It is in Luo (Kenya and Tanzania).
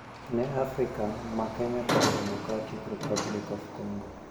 Ne Afrika, ma Kenya kod Democratic Republic of Congo